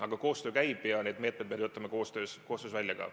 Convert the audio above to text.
Aga koostöö käib ja neid meetmeid me töötame koostöös välja ka.